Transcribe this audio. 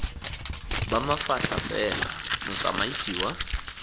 ba mafatlha fela motsamaisi wa